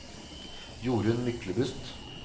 Jorunn Myklebust